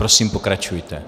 Prosím, pokračujte.